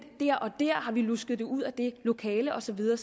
dér og dér har vi lusket det ud af det lokale og så videre